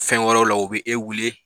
Fɛn wɛrɛw la o bɛ e wele